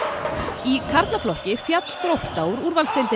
í karlaflokki féll Grótta úr úrvalsdeildinni